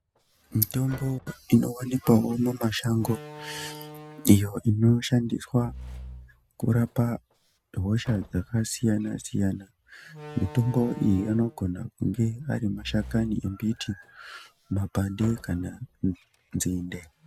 Mitombo ino wanikwawo mumashnago iyo ino shandiswa kurapa hosha dzakasiyana siyana mitombo iyi inogona kunge ari mashakani emumbiti mapande kana nzinde.